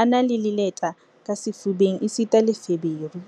a na le leleta ka sefubeng esita le feberu.